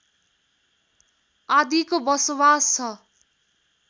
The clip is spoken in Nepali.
आदिको बसोवास छ